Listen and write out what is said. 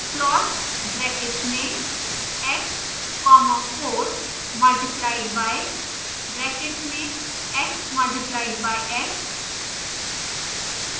plot brackets में x comma 4 multiplied by brackets में x multiplied by x